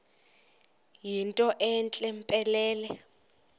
yinto entle mpelele